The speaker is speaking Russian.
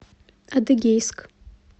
адыгейск